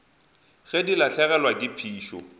ge di lahlegelwa ke phišo